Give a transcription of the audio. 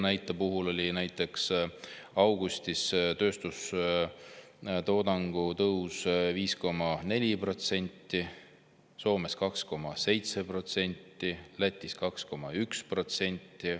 Näiteks Leedus oli augustis tööstustoodangu tõus 5,4%, Soomes 2,7% ja Lätis 2,1%.